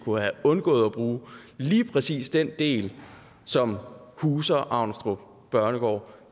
og have undgået at bruge lige præcis den del som huser avnstrup børnegård